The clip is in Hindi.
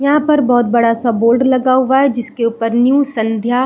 यहाँ पर बहुत बड़ा-सा बोर्ड लगा हुआ है जिसके ऊपर न्यू संध्या --